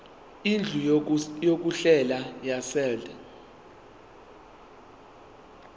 indlu yokudlela yaseold